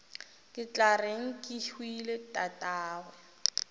ke tla reng kehwile tatagwe